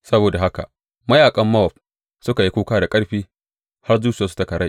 Saboda haka mayaƙan Mowab suka yi kuka da ƙarfi, har zuciyarsu ta karai.